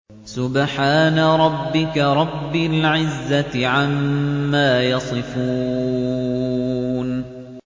سُبْحَانَ رَبِّكَ رَبِّ الْعِزَّةِ عَمَّا يَصِفُونَ